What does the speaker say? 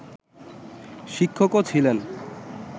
শিক্ষকও ছিলেন